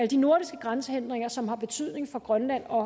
de nordiske grænsehindringer som har betydning for grønland og